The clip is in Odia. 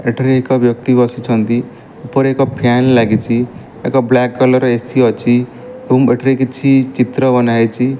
ଏଠାରେ ଏକ ବ୍ୟକ୍ତ ବସିଛନ୍ତି ଉପରେ ଏକ ଫ୍ୟାନ ଲାଗିଚି ଏକ ବ୍ଲାକ କଲର ଏ_ସି ଅଛି ଏଠାରେ କିଛି ଚିତ୍ର ବନାହେଇଚି।